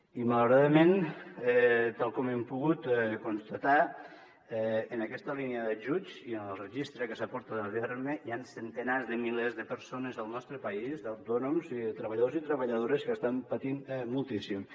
i malauradament tal com hem pogut constatar ho en aquesta línia d’ajuts i en el registre que s’ha portat a terme hi han centenars de milers de persones al nostre país d’autònoms i de treballadors i treballadores que estan patint moltíssim